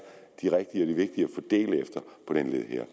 de rigtige og de vigtige at fordele efter på den her